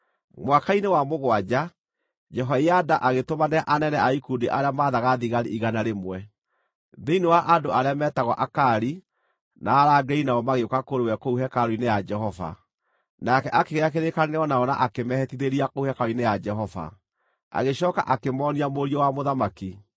Mwaka-inĩ wa mũgwanja, Jehoiada agĩtũmanĩra anene a ikundi arĩa maathaga thigari igana rĩmwe, thĩinĩ wa andũ arĩa meetagwo Akari, na arangĩri nao magĩũka kũrĩ we kũu hekarũ-inĩ ya Jehova. Nake akĩgĩa kĩrĩkanĩro nao na akĩmehĩtithĩria kũu hekarũ-inĩ ya Jehova. Agĩcooka akĩmoonia mũriũ wa mũthamaki.